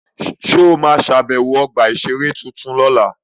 Ṣé o ma ṣàbẹ̀wọ̀ ọgbà-ìṣeré tuntun lọ́la?